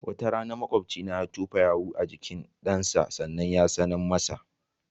Wata rana maƙobcina ya tofa yau a jikin ɗansa sannan yatsine masa.